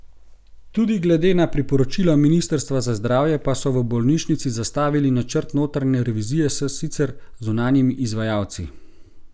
Tudi glede na priporočila ministrstva za zdravje pa so v bolnišnici zastavili načrt notranje revizije s sicer zunanjimi izvajalci.